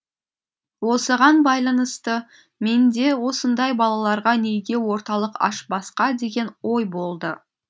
осыған байланысты менде осындай балаларға неге орталық ашпасқа деген ой болды